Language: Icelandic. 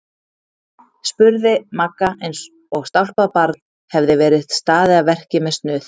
spurði Magga eins og stálpað barn hefði verið staðið að verki með snuð.